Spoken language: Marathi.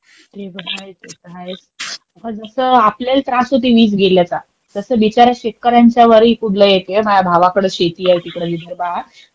हे तर आहेच, हे तर आहेच, जसा आपल्याला त्रास होत आहे वीज गेल्याचा, आणि बिचारे शेतकऱ्यांच्या वरही तुडलाई येतीये. माझ्या भावाकडे शेती आहे तिकडे विदर्भात.